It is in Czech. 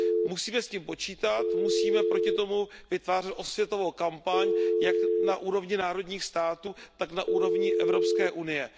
Musíme s tím počítat, musíme proti tomu vytvářet osvětovou kampaň, jak na úrovni národních států, tak na úrovni Evropské unie.